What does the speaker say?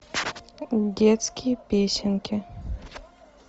детские песенки